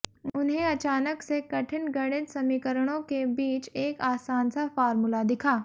उन्हें अचानक से कठिन गणित समीकरणों के बीच एक आसान सा फार्मूला दिखा